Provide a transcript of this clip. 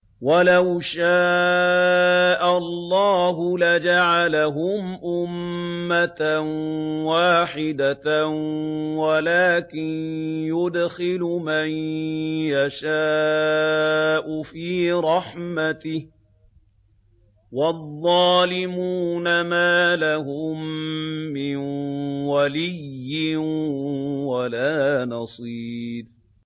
وَلَوْ شَاءَ اللَّهُ لَجَعَلَهُمْ أُمَّةً وَاحِدَةً وَلَٰكِن يُدْخِلُ مَن يَشَاءُ فِي رَحْمَتِهِ ۚ وَالظَّالِمُونَ مَا لَهُم مِّن وَلِيٍّ وَلَا نَصِيرٍ